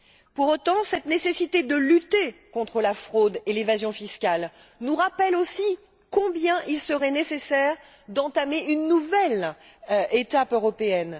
Pour autant, cette nécessité de lutter contre la fraude et l'évasion fiscale nous rappelle aussi combien il serait nécessaire d'entamer une nouvelle étape européenne.